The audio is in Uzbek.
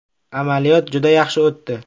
Amaliyot juda yaxshi o‘tdi.